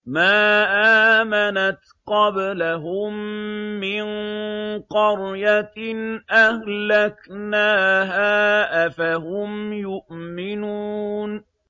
مَا آمَنَتْ قَبْلَهُم مِّن قَرْيَةٍ أَهْلَكْنَاهَا ۖ أَفَهُمْ يُؤْمِنُونَ